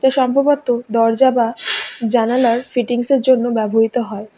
সম্ভবত দরজা বা জানালার ফিটিংসের জন্য ব্যবহৃত হয়।